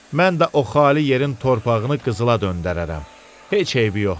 Mən də o xali yerin torpağını qızıla döndərərəm, heç eybi yoxdur.